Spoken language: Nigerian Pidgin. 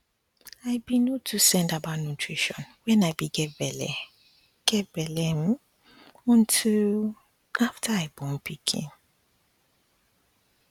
um i be no too send about nutrition when i be get belle get belle um until um after i born pikin